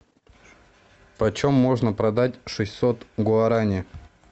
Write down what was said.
почем можно продать шестьсот гуарани